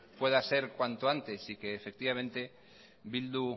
pueda ser cuanto antes y que bildu